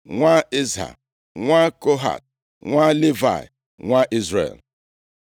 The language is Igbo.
nwa Izha, nwa Kohat, nwa Livayị, nwa Izrel.